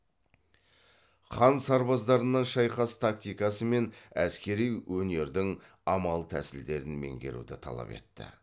хан сарбаздарына шайқас тактикасы мен әскери өнердің амал тәсілдерін меңгеруді талап етті